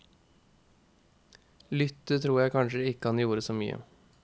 Lytte tror jeg kanskje ikke han gjorde så mye.